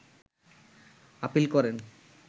appeal করেন